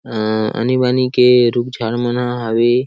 अ आनी बानी के रुख झाड़ मन ह हवे।